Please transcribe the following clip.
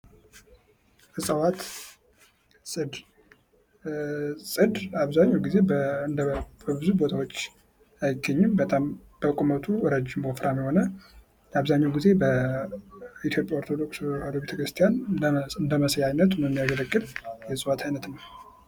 እፅዋት ፦ ፅድ ፦ ፅድ አብዛኛው ጊዜ በብዙ ቦታዎች አይገኙም ። በጣም በቁመቱ ረጅም ፣ ወፍረም የሆነ አብዛኛው ጊዜ በኢትዮጵያ ኦርቶዶክስ ተዋሕዶ ቤተክርስቲያን እንደመስያነት የሚያገለግል የእፅዋት አይነት ነው ።